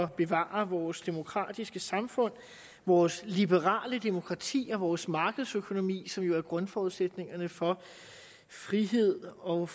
bevare vores demokratiske samfund vores liberale demokrati og vores markedsøkonomi som er grundforudsætningerne for frihed og